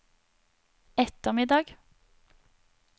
ettermiddag